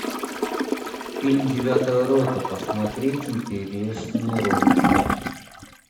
фильм девятая рота посмотреть интересные ролики